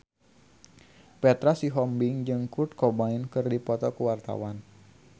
Petra Sihombing jeung Kurt Cobain keur dipoto ku wartawan